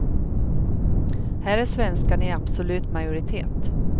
Här är svenskarna i absolut majoritet.